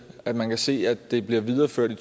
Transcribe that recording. at man kan se at det bliver videreført i